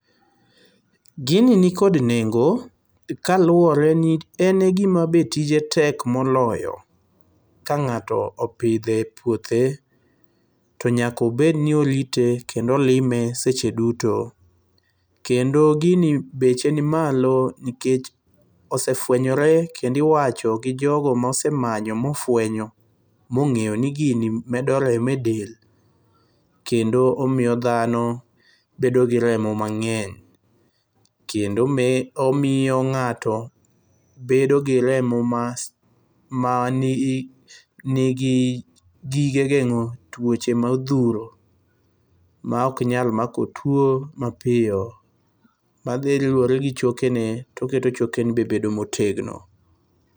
Gini nikod nengo kaluwore ni en e gima be tije tek moloyo. Ka ng'ato opidho e puothe, to nyaka obed ni orite kendo olime seche duto. Kendo gini beche nimalo nikech osefuenyore kendo iwacho gi jogo mosemanyo mofuenyo, mong'eyo ni gini medo remo edel. Kendo omiyo dhano bedo gi remo mang'eny. Kendo e omiyo ng'ato bedo gi remo ma mai manigi gige geng'o tuoche modhuro, maok nyal mako tuo mapiyo, madhi luwore gichokene toketo chokene be bedo motegno.